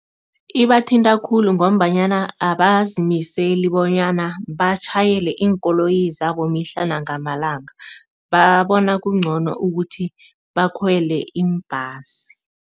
Ibathinta khulu ngombanyana abazimiseli bonyana batjhayele iinkoloyi zabo mihla nangamalanga, babona kungcono ukuthi bakhwele iimbhasi.